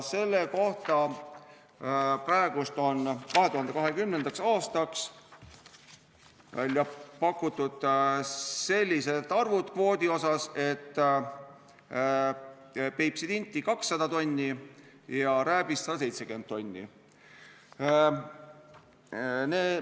Praegu on 2020. aastaks välja pakutud sellised arvud kvoodi kohta, et Peipsi tinti 200 tonni ja rääbist 170 tonni.